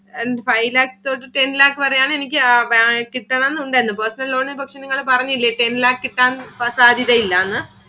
Five lakhs ഓ ten lakhs വരെയാണ് എനിക്ക് കിട്ടണം എന്നുണ്ടായിരുന്നു. Personal loan ഇനെ കുറിച്ച് നിങ്ങള് പറഞ്ഞില്ലേ ten lakh കിട്ടാൻ സാധ്യത ഇല്ലാന്ന്.